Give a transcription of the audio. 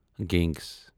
گنگٕس